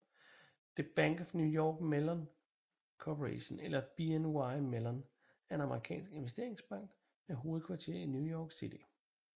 The Bank of New York Mellon Corporation eller BNY Mellon er en amerikansk investeringsbank med hovedkvarter i New York City